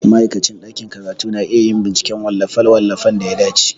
Ma'aikacin ɗakin karatu na iya yin binciken wallafe-wallafen da ya dace.